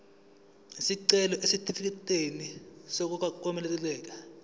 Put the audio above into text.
isicelo sesitifikedi sokwamukeleka